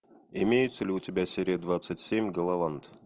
имеется ли у тебя серия двадцать семь галавант